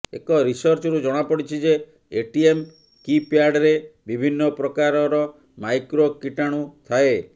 ଏକ ରିସର୍ଚ୍ଚରୁ ଜଣାପଡିଛି ଯେ ଏଟିଏମ୍ କିପ୍ୟାଡରେ ବିଭିନ୍ନ ପ୍ରକାରର ମାଇକ୍ରୋ କୀଟାଣୁ ଥାଏ